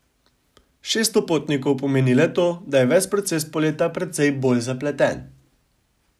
Šeststo potnikov pomeni le to, da je ves proces poleta precej bolj zapleten.